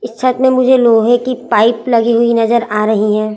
इस छत में मुझे लोहे की पाईप लगी हुई नजर आ रहीं है।